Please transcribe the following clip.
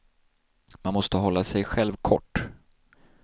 Man måste hålla sig själv kort.